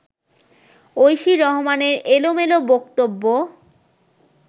ঐশী রহমানের এলোমেলো বক্তব্য